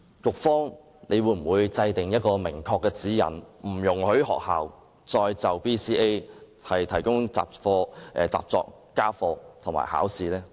局方會否制訂明確的指引，不容許學校再就 BCA 提供習作、家課和考試呢？